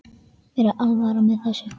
Mér er alvara með þessu.